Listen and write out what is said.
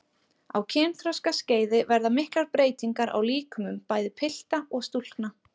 Á kynþroskaskeiði verða miklar breytingar á líkömum bæði pilta og stúlkna.